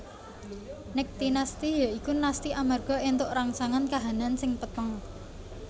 Niktinasti ya iku nasti amarga éntuk rangsangan kahanan sing peteng